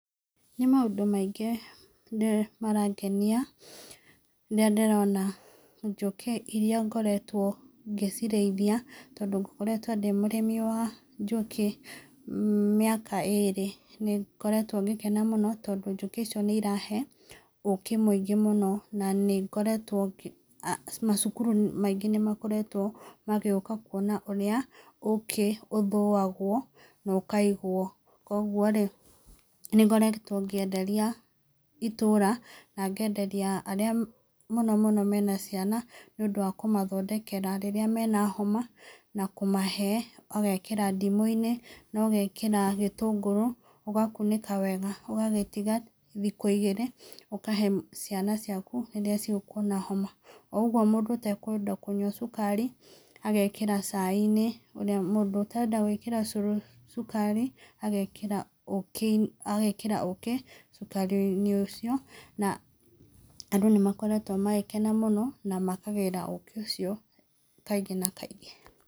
Nĩ maundũ maingĩ marĩa marangenia ,rĩrĩa ndĩrona njũkĩ iria ngoretũo ngĩcĩrĩithia, tondũ ngoretwo ndĩ mũrĩmi wa njũkĩ, mĩaka ĩrĩ nĩ ngoretwo ngĩkena mũno, tondũ njũkĩ icio nĩirahe ũkĩ mũingĩ mũno. Macukuru maingĩ nĩmakoretwo magĩũka kuona ũrĩa, ũkĩ ũthũagwo, na ũkaigwo koguo rĩ, nĩ ngoretwo ngĩenderia itũũra na ngenderia arĩa mũno mũno me na ciana, nĩ ũndũ wa kũmathondekera rĩrĩa marĩ na homa, na kũmahee magekĩra ndimũini magekĩra gĩtũngũrũ ũgakũnĩka wega, ũgagĩtĩga thikũ ĩgĩrĩ ,ũkahe ciana ciaku iria cigũkorwo na homa. Ũguo mũndũ ũtakweda kũnyua cukari, agekĩra chaiinĩ, mũndũ ũtakweda ũcũrũ cukari, agekĩra ũkĩ ,na andũ nĩmakoretwo magĩkena mũno, na makagĩra ũkĩ ũcio, kaingĩ na kaingĩ.